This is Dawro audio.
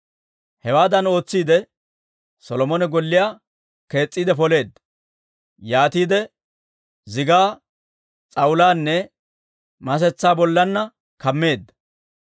Hewaadan ootsiide, Solomone golliyaa kees's'iide poleedda; yaatiide zigaa s'awulaanne masetsaa bollanna kammeedda.